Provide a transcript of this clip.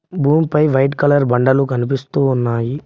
భూమిపై white colour బండలు కనిపిస్తూ ఉన్నాయి.